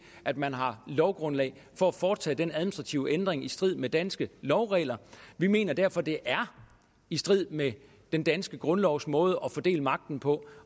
at man har lovgrundlag for at foretage den administrative ændring i strid med danske lovregler vi mener derfor det er i strid med den danske grundlovs måde at fordele magten på